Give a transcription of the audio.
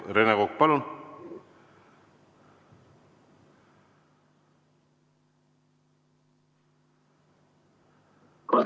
Rene Kokk, palun!